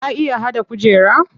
Ka iya haɗa kujera?